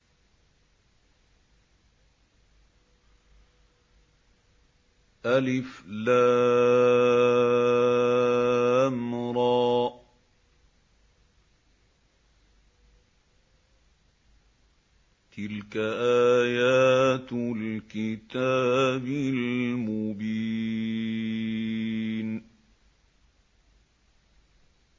الر ۚ تِلْكَ آيَاتُ الْكِتَابِ الْمُبِينِ